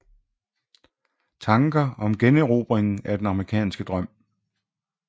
Tanker om generobringen af den amerikanske drøm